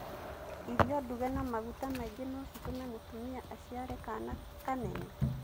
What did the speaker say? Irio nduge na maguta maingĩ no citûme mũtumia aciare kana kanene?